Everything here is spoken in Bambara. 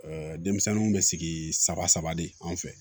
denmisɛnninw bɛ sigi saba saba de an fɛ